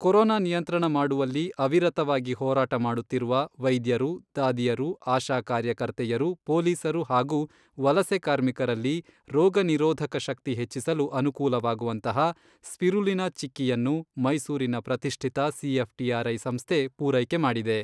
Corona ನಿಯಂತ್ರಣ ಮಾಡುವಲ್ಲಿ ಅವಿರತವಾಗಿ ಹೋರಾಟ ಮಾಡುತ್ತಿರುವ ವೈದ್ಯರು, ದಾದಿಯರು, ಆಶಾ ಕಾರ್ಯಕರ್ತೆಯರು, ಪೊಲೀಸರು ಹಾಗೂ ವಲಸೆ ಕಾರ್ಮಿಕರಲ್ಲಿ ರೋಗನಿರೋಧಕ ಶಕ್ತಿ ಹೆಚ್ಚಿಸಲು ಅನುಕೂಲವಾಗುವಂತಹ 'ಸ್ಪಿರುಲಿನಾ ಚಿಕ್ಕಿಯನ್ನು ಮೈಸೂರಿನ ಪ್ರತಿಷ್ಠಿತ ಸಿಎಫ್ಟಿಆರ್ಐ ಸಂಸ್ಥೆ ಪೂರೈಕೆ ಮಾಡಿದೆ.